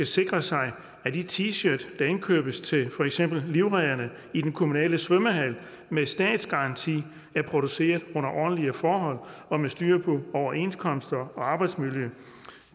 sikre sig at de t shirts der indkøbes til for eksempel livredderne i den kommunale svømmehal med statsgaranti er produceret under ordentlige forhold og med styr på overenskomster og arbejdsmiljø